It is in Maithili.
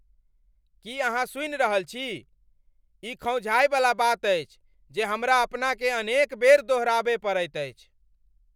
की अहाँ सुनि रहल छी? ई खौंझावयवला बात अछि जे हमरा अपनाकेँ अनेक बेर दोहराबय पड़ैत अछि।